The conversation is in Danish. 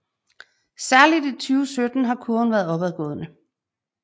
Særligt i 2017 har kurven været opadgående